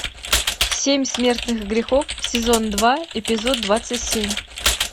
семь смертных грехов сезон два эпизод двадцать семь